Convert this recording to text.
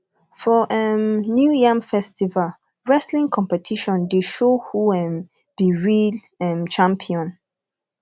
for um new yam festival wrestling competition dey show who um be real um champion